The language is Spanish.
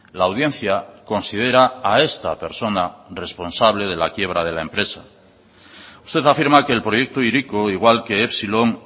la audiencia considera a esta persona responsable de la quiebra de la empresa usted afirma que el proyecto hiriko igual que epsilon